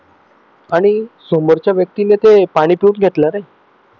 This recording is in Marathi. आणि समोरच्या व्यक्तीने ते पाणी पिऊन घेतलं रे